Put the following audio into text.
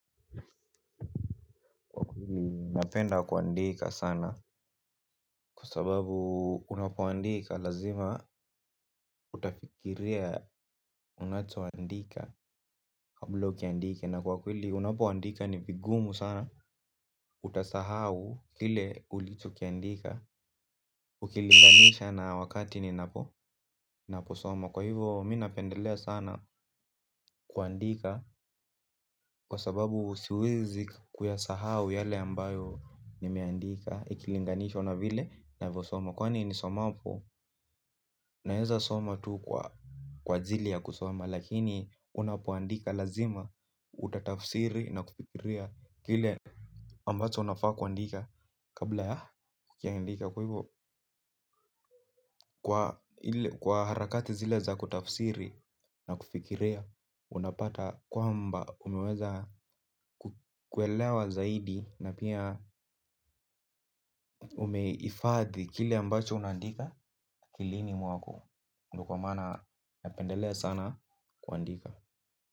Napenda kuandika sana kwa sababu unapoandika lazima utafikiria unachoaandika kabla ukiandike. Na kwa kweli unapoandika ni vigumu sana utasahau kile ulico kiandika ukilinganisha na wakati ni napo soma. Kwa hivo mi napendelea sana kuandika kwa sababu siwezi kuyasahau yale ambayo nimeandika. Ikilinganishwa na vile navyo soma kwani ni somapo. Naeza soma tu kwajili ya kusoma. Lakini unapoandika lazima utatafsiri na kufikiria kile ambacho unafaa kuandika kabla ya kukiandika kwa harakati zile za kutafsiri. Na kufikiria unapata kwamba umeweza kuelewa zaidi. Na pia umeifadhi kile ambacho unandika kilini mwako. Ndo kwa maana napendele sana kuandika.